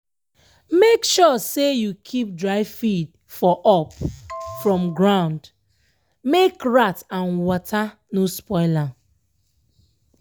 na one agric officer for my area teach teach me how to store anima food wey go last for me.